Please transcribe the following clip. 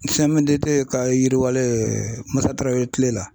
CMDT ka yiriwalen MUSA TARAWELE kile la.